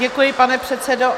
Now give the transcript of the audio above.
Děkuji, pane předsedo.